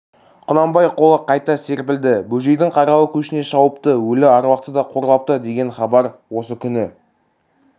құнанбай қолы қайта серпілді бөжейдің қаралы көшіне шауыпты өлі аруақты да қорлапты деген хабар осы күні